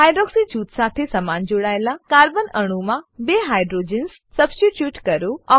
hydroxy જૂથ સાથે સમાન જોડાયેલા કાર્બન અણુમાં બે હાઇડ્રોજન્સ સબસ્ટીટ્યુટ કરો